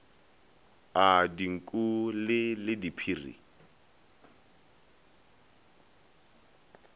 a dinku le le diphiri